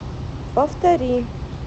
повтори